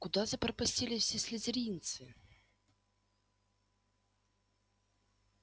куда запропастились все слизеринцы